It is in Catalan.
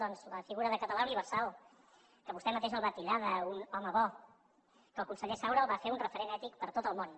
doncs la figura de català universal que vostè mateix el va titllar d’ un home bo que el conseller saura el va fer un referent ètic per a tot el món